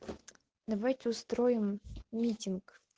давайте устроим митинг